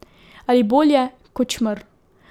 Ali bolje, kot čmrlj.